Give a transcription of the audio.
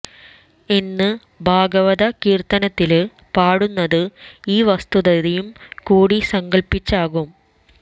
എന്ന് ഭാഗവത കീര്ത്തനത്തില് പാടുന്നത് ഈ വസ്തുതയും കൂടി സങ്കല്പ്പിച്ചാകുന്നു